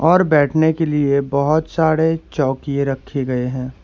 और बैठने के लिए बहुत सारे चौकीए रखे गए हैं।